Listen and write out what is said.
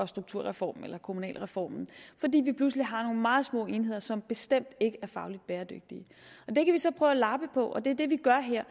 strukturreformen eller kommunalreformen fordi vi pludselig har nogle meget små enheder som bestemt ikke er fagligt bæredygtige det kan vi så prøve at lappe på og det er det vi gør her